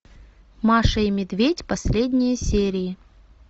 маша и медведь последние серии